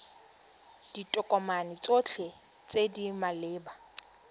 ditokomane tsotlhe tse di maleba